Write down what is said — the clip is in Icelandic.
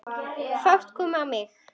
Fát kom á mig.